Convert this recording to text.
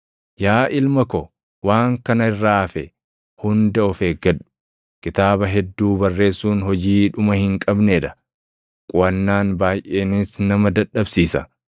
Yaa ilma ko, waan kana irraa hafe hunda of eeggadhu. Kitaaba hedduu barreessuun hojii dhuma hin qabnee dha; quʼannaan baayʼeenis nama dadhabsiisa.